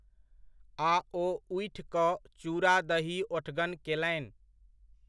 आ ओ उठि कऽ चूड़ा दही ओठगन केलनि।